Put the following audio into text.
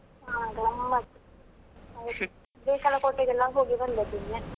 ಹಾ ಗಮ್ಮತ್ತ್ ಹೌದು ಬೇಕಲ ಕೋಟೆಗೆಲ್ಲ ಹೋಗಿ ಬಂದದ್ದು ನಿನ್ನೆ.